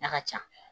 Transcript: A ka ca